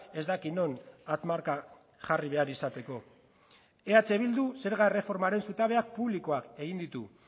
ez dakit non hatz marka jarri behar izateko eh bilduk zerga erreformaren zutabeak publikoak egin ditu